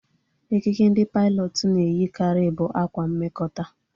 Ekike ndị pailọtụ na eyi karị bụ ákwá mmekota